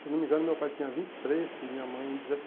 Se não me engano, meu pai tinha vinte e três e minha mãe